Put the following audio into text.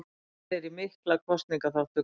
Stefnir í mikla kosningaþátttöku